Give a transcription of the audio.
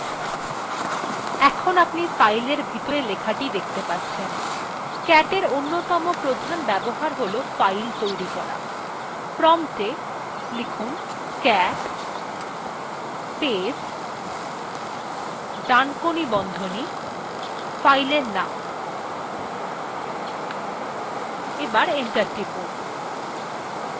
in আপনি fileটির ভিতরের লেখাটি দেখতে পাচ্ছেন cat in অন্যতম প্রধান ব্যবহার হল file তৈরি করা prompt a cat space ডানকোনি বন্ধনী space file নাম লিখে enter টিপুন